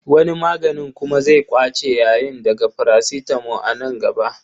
Wani maganin kuma zai ƙwace yayin daga parasitamo a nan gaba.